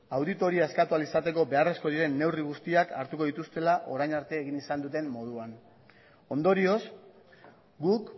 auditoria eskatu ahal izateko beharrezkoak diren neurri guztiak hartuko dituztela orain arte egin izan duten moduan ondorioz guk